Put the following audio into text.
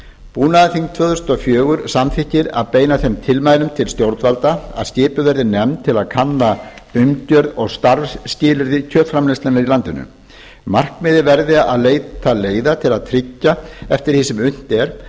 búnaðarþing tvö þúsund og fjögur samþykkir að beina þeim tilmælum til stjórnvalda að skipuð verði nefnd til að kanna umgjörð og starfsskilyrði kjötframleiðslunnar í landinu markmiðið verði að leita leiða til að tryggja eftir því sem unnt er